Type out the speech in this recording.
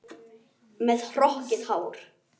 Með hrokkið hár.